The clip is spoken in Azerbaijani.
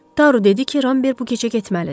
Taru dedi ki, Ramber bu gecə getməlidir.